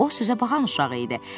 O sözə baxan uşaq idi